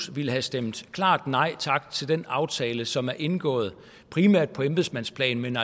ville have stemt klart nej tak til den aftale som er indgået primært på embedsmandsplan men